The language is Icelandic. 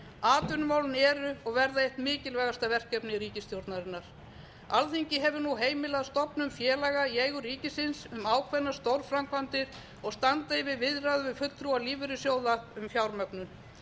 atvinnumálin eru og verða eitt mikilvægasta verkefni ríkisstjórnarinnar alþingi hefur nú heimilað stofnun félaga í eigu ríkisins um ákveðnar stórframkvæmdir og standa yfir viðræður við fulltrúa lífeyrissjóða um fjármögnun